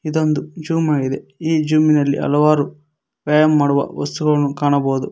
ಇದೊಂದು ಜ಼ುಮ್ ಆಗಿದೆ ಈ ಜ಼ುಮಿನಲ್ಲಿ ಹಲವಾರು ವ್ಯಾಯಾಮ ಮಾಡುವ ವಸ್ತುಗಳನ್ನು ಕಾಣಬೋದು.